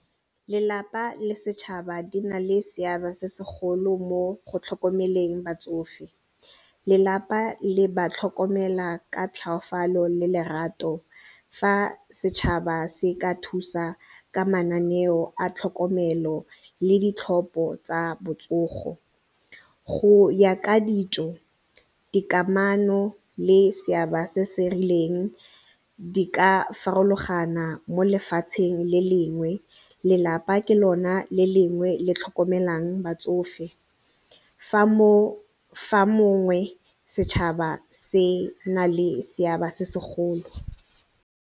Lelapa le setšhaba di na le seabe se segolo mo go tlhokomeleng batsofe, lelapa le ba tlhokomela ka tlhoafalo le lerato fa setšhaba se ka thusa ka mananeo a tlhokomelo le ditlhopho tsa botsogo. Go ya ka ditso, dikamano le seabe se se rileng di ka farologana mo lefatsheng le lengwe lelapa ke lona le lengwe le tlhokomelang batsofe fa mongwe setšhaba se na le seabe se segolo.